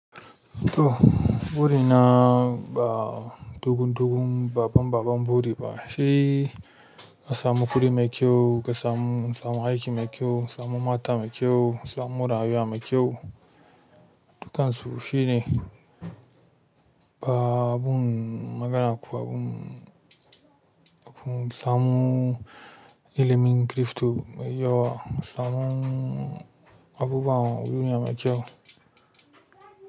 Toh burina ba dogon dogon babban babban buri ba shi asamu guri me kyau, kasamu samu aiki me kyau, samu mata me kyau, samu mora rayuwa me kyau, dukansu shine ba abun magana ko abun samun ilimin kirifto me yawa. Samun abubwan uyuya me kyau.